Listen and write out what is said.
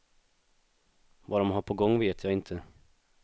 Vad de har på gång vet jag inte.